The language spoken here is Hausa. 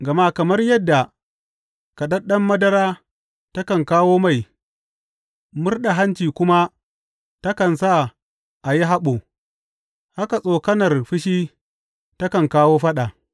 Gama kamar yadda kaɗaɗɗen madara takan kawo mai, murɗa hanci kuma takan sa a yi haɓo, haka tsokanar fushi takan kawo faɗa.